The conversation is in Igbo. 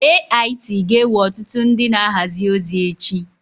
AIT ga-ewe ọtụtụ ndị na-ahazi ozi echi.